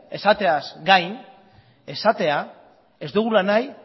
esateaz gain esatea ez dugula nahi